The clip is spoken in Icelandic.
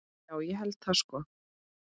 Já, ég held það sko.